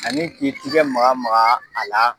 Ani k'i tigɛ maga maga a la.